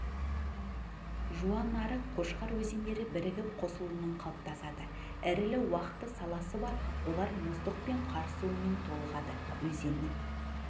жуанарық қошқар өзендері бірігіп қосылуынан қалыптасады ірілі-уақты саласы бар олар мұздық пен қар суымен толығады өзеннің